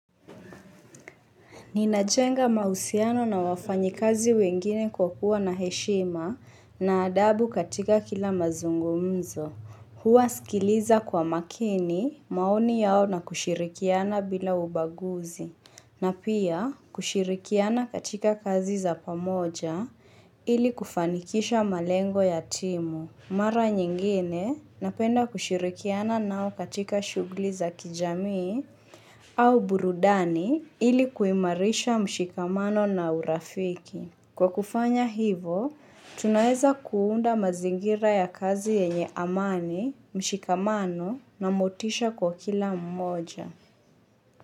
Ninajenga mausiano na wafanyikazi wengine kwa kuwa na heshima na adabu katika kila mazungumzo. Huwasikiliza kwa makini maoni yao na kushirikiana bila ubaguzi. Na pia kushirikiana katika kazi za pamoja ili kufanikisha malengo ya timu. Mara nyingine napenda kushirikiana nao katika shughuli za kijamii au burudani ili kuimarisha mshikamano na urafiki. Kwa kufanya hivo, tunaeza kuunda mazingira ya kazi yenye amani, mshikamano na motisha kwa kila mmoja.